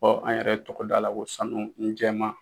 Fɔ an yɛrɛ ye tɔgɔ d'a la ko sanu jɛma